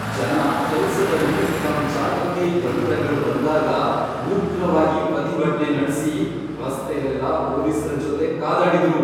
ಜನ ಕೆಲ್ಸದಲ್ಲಿ ತಮ್ಮ್ ಜಾಗಕ್ಕೆ ಯಂತ್ರಗಳ್ ಬಂದಾಗ ಉಗ್ರವಾಗಿ ಪ್ರತಿಭಟ್ನೆ ನಡ್ಸಿ ರಸ್ತೆಲೆಲ್ಲ ಪೊಲೀಸ್ರ ಜೊತೆ ಕಾದಾಡಿದ್ರು.